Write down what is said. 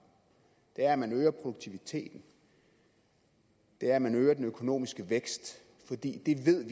at man øger produktiviteten at man øger den økonomiske vækst fordi vi ved